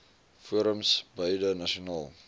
forums beide nasionaal